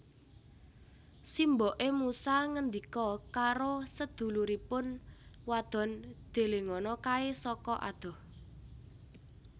Simboké musa ngendika karo seduluripun wadon Delengono kaé saka adoh